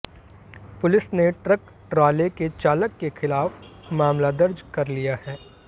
police ने truck ट्राले के चालक के खिलाफ मामला दर्ज कर लिया है